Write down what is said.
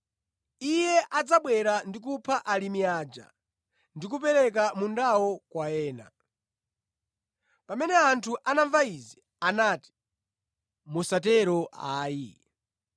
Iye adzabwera ndi kupha alimi aja ndi kupereka mundawo kwa ena.” Pamene anthu anamva izi, anati, “Musatero ayi.”